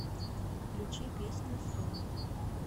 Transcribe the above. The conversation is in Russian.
включи песню сун